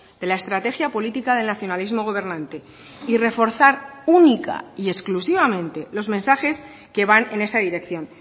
de la estrategia política del nacionalismo gobernante y reforzar única y exclusivamente los mensajes que van en esa dirección